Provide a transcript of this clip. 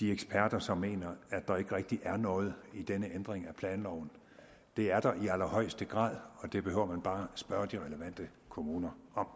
de eksperter som mener at der ikke rigtig er noget i denne ændring af planloven det er der i allerhøjeste grad og det behøver man bare at spørge de relevante kommuner om